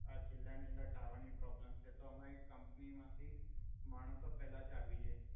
આ જિલ્લા ની અંદર ટાવર ની પ્રોબલમ છે તો અમાઈ કમપની માથી મણ્સો પેલા જ આવી જાઈ.